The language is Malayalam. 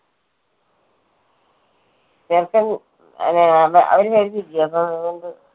ചെറുക്കൻ അവര് വരുന്നില്ലയോ അപ്പോ അതുകൊണ്ട്